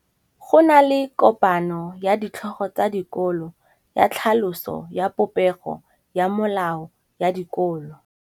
Go na le kopanô ya ditlhogo tsa dikolo ya tlhaloso ya popêgô ya melao ya dikolo.